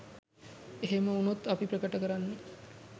එහෙම වුණොත් අපි ප්‍රකට කරන්නෙ